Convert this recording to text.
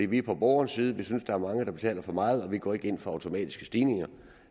vi er på borgerens side vi synes der er mange der betaler for meget og vi går ikke ind for automatiske stigninger